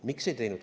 Miks ei teinud?